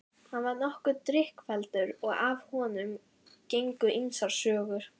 Hann var nokkuð drykkfelldur og af honum gengu ýmsar sögur.